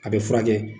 A bɛ furakɛ